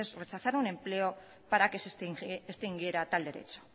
rechazar un empleo para que se extinguiera tal derecho